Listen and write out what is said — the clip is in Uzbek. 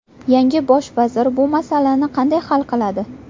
Yangi bosh vazir bu masalani qanday hal qiladi?